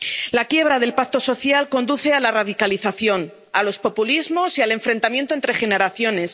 La quiebra del pacto social conduce a la radicalización, a los populismos y al enfrentamiento entre generaciones.